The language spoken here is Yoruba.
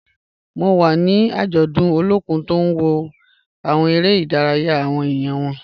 Mo wa ni ajọdun Olokun ti n wo awọn ere-idaraya awọn eniyan wọn.